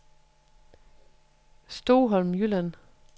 Stoholm Jylland